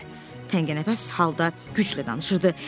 Piqlet təngənəfəs halda güclə danışırdı.